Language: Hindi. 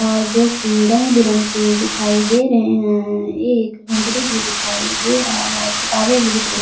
और जो कि रंग बिरंगे दिखाई दे रहे हैं एक हंगरी भी दिखाई दे रहा है किताबें भी दिख रही--